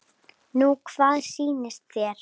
Nú hvað sýnist þér.